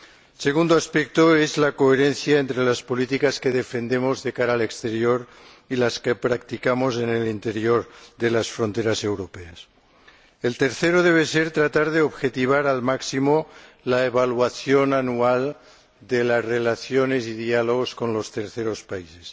El segundo aspecto es la coherencia entre las políticas que defendemos de cara al exterior y las que practicamos en el interior de las fronteras europeas. El tercero debe ser tratar de objetivar al máximo la evaluación anual de las relaciones y diálogos con los terceros países.